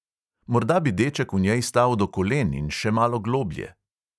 Morda bi deček v njej stal do kolen in še malo globlje.